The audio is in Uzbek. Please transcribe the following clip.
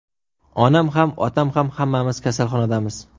Onam ham, otam ham hammamiz kasalxonadamiz.